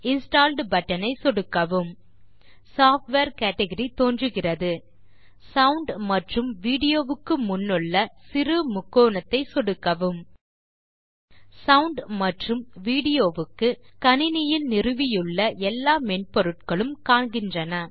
installed button ஐ சொடுக்கவும் software category தோன்றுகிறது சவுண்ட் மற்றும்Video க்கு முன்னுள்ள சிறு முக்கோணத்தை சொடுக்கவும் சவுண்ட் மற்றும் வீடியோ க்கு கணினியில் நிறுவியுள்ள எல்லா மென்பொருட்களும் காண்கின்றன